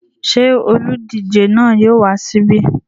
Ṣé olùdíje náà yóò wá síbí?